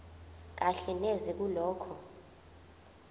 kahle neze kulokho